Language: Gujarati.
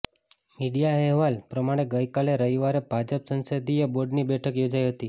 મીડિયા અહેવાલ પ્રમાણે ગઈકાલે રવિવારે ભાજપ સંસદીય બોર્ડની બેઠક યોજાઈ હતી